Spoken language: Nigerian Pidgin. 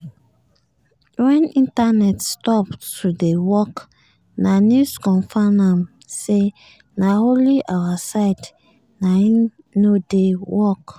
wen internet stop to dey work na news confam am say na only our side naim nor dey work.